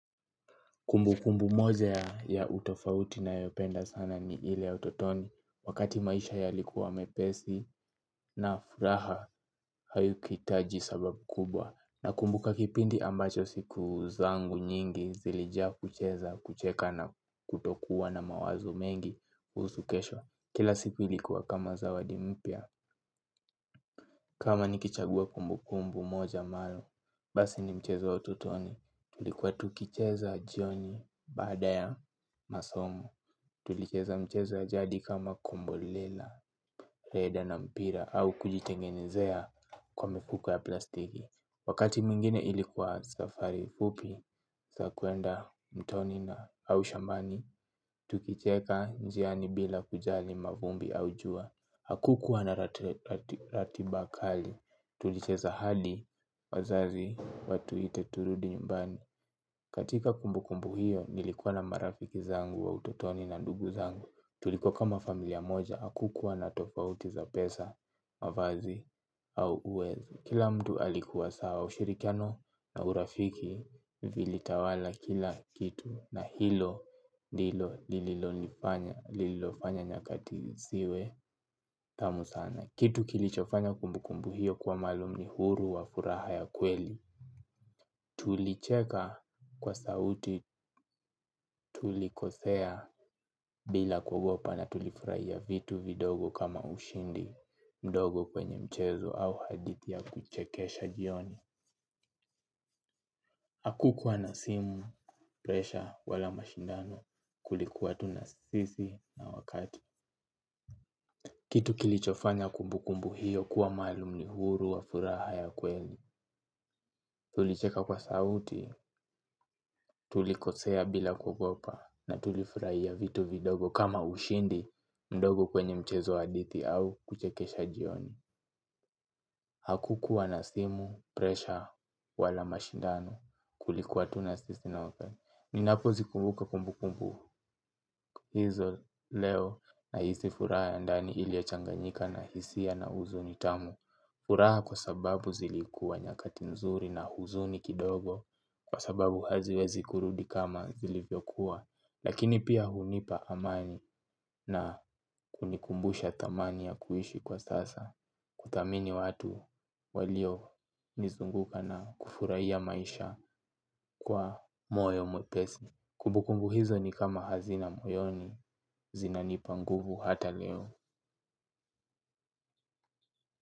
Kumbukumbu moja ya utofauti nayopenda sana ni ile ototoni wakati maisha yalikuwa mepesi na furaha haiku hitaji sababu kubwa. Nakumbuka kipindi ambacho siku zangu nyingi zilijiaa kucheza kucheka na kutokuwa na mawazo mengi kuhusu kesho. Kila siku ilikuwa kama zawadi mpya kama niki chagua kumbukumbu moja amabayo basi ni mchezo ya ototoni. Tulikuwa tukicheza jioni baada ya masomo. Tulicheza michezo ya jadi kama kombolela, rede na mpira au kujitengenezea kwa mifuko ya plastiki. Wakati mingine ilikuwa safari fupi ya kwenda mtoni na au shambani tukicheka njiani bila kujali mavumbi au jua hakukuwa na ratiba kali tulicheza hadi wazazi watuite turudi nyumbani. Katika kumbukumbu hiyo nilikuwa na marafiki zangu wa utotoni na ndugu zangu. Tulikua kama familia moja hakukua na tofauti za pesa, mavazi au uwezo. Kila mtu alikuwa sawa ushirikiano na urafiki vili tawala kila kitu. Na hilo, ndilo, lililo nifanya, lililo fanya nyakati siwe tamu sana. Kitu kilichofanya kumbukumbu hiyo kwa maalu ni uhuru ya furaha ya kweli. Tulicheka kwa sauti tulikosea bila kugopa na tulifurahia vitu vidogo kama ushindi mdogo kwenye mchezo au hadithi ya kuchekesha jioni hakukua na simu presha wala mashindano kulikuwa tu na sisi na wakati. Kitu kilichofanya kumbukumbu hiyo kuwa maalum ni uhuru wa furaha ya kweli. Tulicheka kwa sauti, tulikosea bila kuogopa na tulifurahia vitu vidogo kama ushindi mdogo kwenye mchezo wa hadithi au kuchekesha jioni. Hakukuwa na simu, presha, wala mashindano. Kulikuwa tunasisi na open. Ninapozi kumbuka kumbu kumbu hizo leo na hisifuraha ya ndani ilio changanyika na hisia na huzuni tamu. Uraha kwa sababu zilikuwa nyakati nzuri na huzuni kidogo kwa sababu haziwezi kurudi kama zilivyokuwa lakini pia hunipa amani na kunikumbusha thamani ya kuishi kwa sasa kuthamini watu walio nizunguka na kufurahiya maisha kwa, moyo mwepesi. Kubukumbu hizo ni kama hazina moyoni, zinanipa nguvu hata leo.